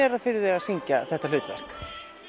er það fyrir þig að syngja þetta hlutverk